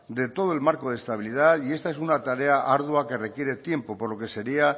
de todo el marco de estabilidad y esta es una tarea ardua que requiere tiempo por lo que sería